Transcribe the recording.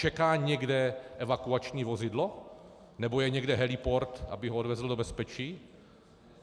Čeká někde evakuační vozidlo, nebo je někde heliport, aby ho odvezl do bezpečí?